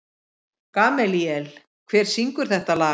Gamalíel, hver syngur þetta lag?